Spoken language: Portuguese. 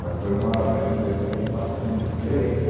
Mas foi uma era uma experiência muito marcante, muito diferente.